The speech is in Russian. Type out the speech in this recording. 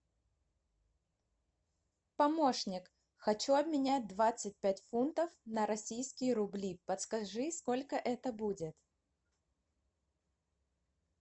помощник хочу обменять двадцать пять фунтов на российские рубли подскажи сколько это будет